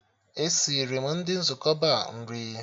E siri m ndị nzukọ Ba nri